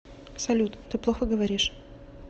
салют ты плохо говоришь